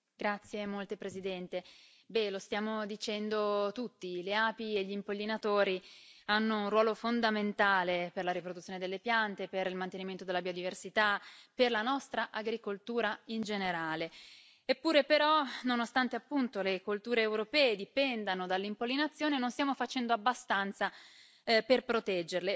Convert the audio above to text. Signor Presidente, onorevoli colleghi, lo stiamo dicendo tutti le api e gli impollinatori hanno un ruolo fondamentale per la riproduzione delle piante, per il mantenimento della biodiversità, per la nostra agricoltura in generale. Eppure, però, nonostante le colture europee dipendano dall'impollinazione, non stiamo facendo abbastanza